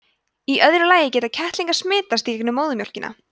í öðru lagi geta kettlingar smitast í gegnum móðurmjólkina